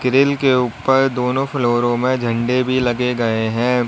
इनके ऊपर दोनों फ्लोरों में झंडे भी लगे गए हैं।